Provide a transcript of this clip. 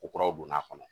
Ko kuraw donna a kɔnɔ